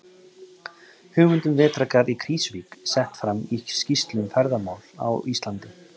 Hugmynd um vetrargarð í Krýsuvík sett fram í skýrslu um ferðamál á Íslandi.